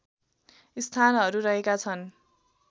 स्थानहरू रहेका छन्